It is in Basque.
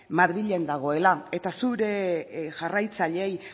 madrilen dagoela eta zure jarraitzaileei